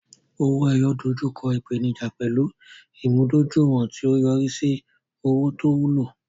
owo-eyo dojú kọ ìpèníjà pẹ̀lú ìmúdójúìwọ̀n, tí ó yọrí sí owó tó wúlò.